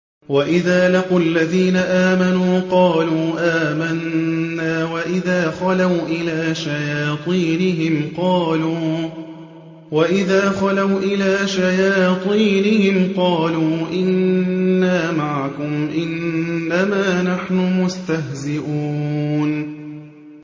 وَإِذَا لَقُوا الَّذِينَ آمَنُوا قَالُوا آمَنَّا وَإِذَا خَلَوْا إِلَىٰ شَيَاطِينِهِمْ قَالُوا إِنَّا مَعَكُمْ إِنَّمَا نَحْنُ مُسْتَهْزِئُونَ